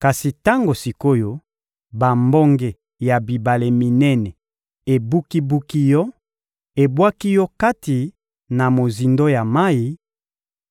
Kasi tango sik’oyo bambonge ya bibale minene ebuki-buki yo, ebwaki yo kati na mozindo ya mayi: